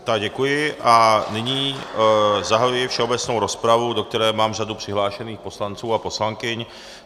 Tak, děkuji a nyní zahajuji všeobecnou rozpravu, do které mám řadu přihlášených poslanců a poslankyň.